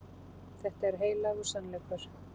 Þetta er heilagur sannleikur.